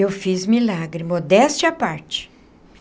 Eu fiz milagre, modéstia à parte.